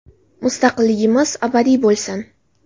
Mustaqilligimiz abadiy bo‘lsin!”.